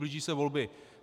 Blíží se volby.